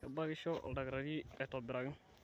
kebakisho oldaktarii atobiraki